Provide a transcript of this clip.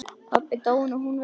Pabbi dáinn og hún veik.